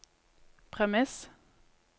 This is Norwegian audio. premiss